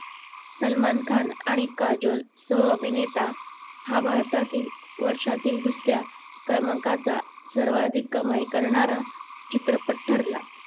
सलमान खान आणि काजोल सह अभिनेता हा भारतातील वर्षातील दुसऱ्या क्रमांकाचा सर्वाधिक कमाई करणारा चित्रपट ठरला